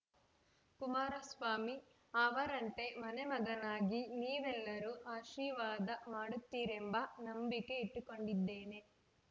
ಕುಮಾರಸ್ವಾಮಿ ಅವರಂತೆ ಮನೆ ಮಗನಾಗಿ ನೀವೆಲ್ಲರೂ ಆಶೀರ್ವಾದ ಮಾಡುತ್ತೀರೆಂಬ ನಂಬಿಕೆ ಇಟ್ಟುಕೊಂಡಿದ್ದೇನೆ